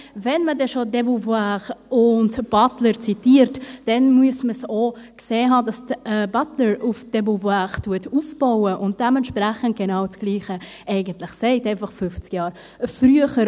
Wenn man denn schon de Beauvoir und Butler zitiert, muss man auch sehen, dass Butler auf de Beauvoir aufbaut und dementsprechend eigentlich das genau Gleiche sagt, einfach 50 Jahre später.